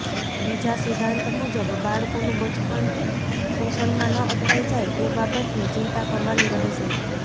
બીજા સિદ્ધાંત મુજબ બાળકોનું બચપણ શોષણમાં ન અટવાઈ જાય એ બાબતની ચિંતા કરવાની રહેશે